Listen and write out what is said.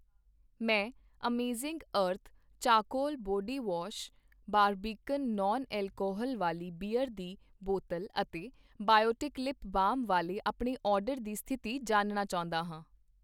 ਮੈਂ Amazing Earth charcoal body wash, Barbican non alcohol ਵਾਲੀ beer ਦੀ ਬੋਤਲ ਅਤੇ ਬਾਇਓਟਿਕ ਲਿਪ ਬਾਮ ਵਾਲੇ ਆਪਣੇ ਆਰਡਰ ਦੀ ਸਥਿਤੀ ਜਾਣਨਾ ਚਾਹੁੰਦਾ ਹਾਂ